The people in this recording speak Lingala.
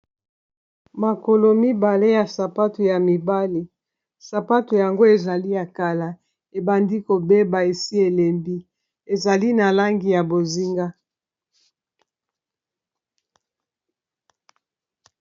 Makolo mibale ya sapato ya mibali sapato yango ezali ya kala ebandi kobeba esi elembi ezali na langi ya bozinga.